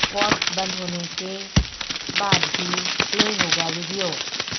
what's بند ہونے کے بعد بھی پلے ہوگا ویڈیو